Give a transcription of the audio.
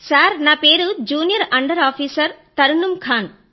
sir నా పేరు junior under officer Tarannum Khan